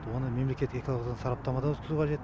оны мемлекет экологиялық сараптамадан өткізу қажет